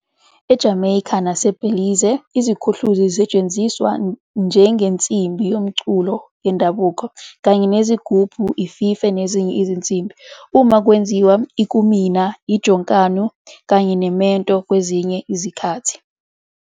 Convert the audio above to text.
EJameyikha naseBhelize, iziKhuhluzi zisetshenziswa njengensimbi yomculo yendabuko, kanye neziGubhu, iFife, nezinye izinsimbi, uma kwenziwa ikumina, ijonkanu, kanye nemento kwezinye izikhathi.